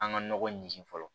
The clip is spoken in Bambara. An ka nɔgɔ ɲin fɔlɔ